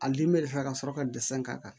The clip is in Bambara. A ka sɔrɔ ka dɛsɛ k'a kan